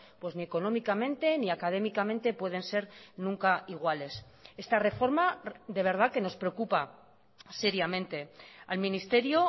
pues ni económicamente ni académicamente pueden ser nunca iguales esta reforma de verdad que nos preocupa seriamente al ministerio